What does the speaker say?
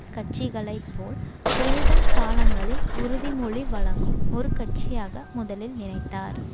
கட்சிகளை போல் தேர்தல் காலங்களில் உறுதிமொழி வழங்கும் ஒரு கட்சியாக முதலில் நினைத்தார்